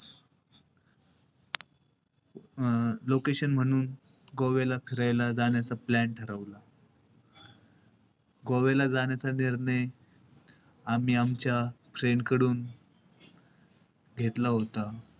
अं location म्हणून गोव्याला फिरायला जाण्याचा plan ठरवला. गोव्याला जाण्याचा निर्णय आम्ही आमच्या friend कडून घेतला होता.